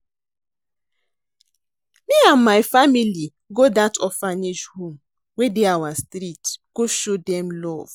Me and my family go dat orphanage home wey dey our street go show dem love